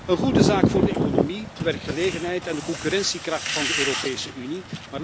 Een goede zaak voor de economie, de werkgelegenheid en de concurrentiekracht van de Europese Unie.